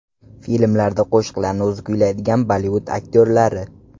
Filmlarda qo‘shiqlarni o‘zi kuylaydigan Bollivud aktyorlari.